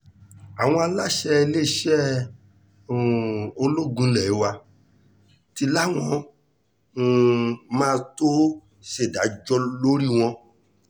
àwọn aláṣẹ iléeṣẹ́ um ológun ilé wa ti láwọn um máa tóó ṣèdájọ́ lórí wọn láìpẹ́